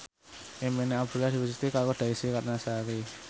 impine Abdullah diwujudke karo Desy Ratnasari